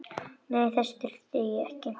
Nei, þess þurfti ég ekki.